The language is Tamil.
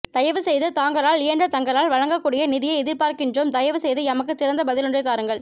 தயவு செய்து தாங்களால் இயன்ற தங்களால் வழங்கக் கூடிய நிதியை எதிர்பார்க்கின்றோம் தயவு செய்து எமக்கு சிறந்த பதிலொன்றை தாருங்கள்